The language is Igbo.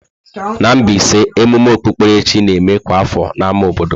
Na Mbaise, emume okpukpere chi na-eme kwa afọ n'ámá obodo.